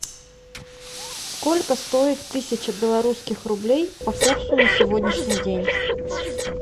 сколько стоит тысяча белорусских рублей по курсу на сегодняшний день